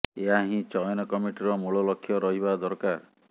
ଏହା ହିଁ ଚୟନ କମିଟିର ମୂଳ ଲକ୍ଷ୍ୟ ରହିବା ଦରକାର